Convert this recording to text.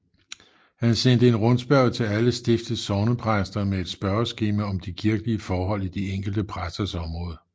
Han sendte en rundspørge til alle stiftets sognepræster med et spørgeskema om de kirkelige forhold i de enkelte præsters område